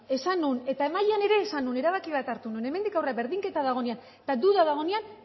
esan nuen eta mahaian ere esan nuen erabaki bat hartu nuen hemendik aurrera berdinketa dagoenean eta duda dagoenean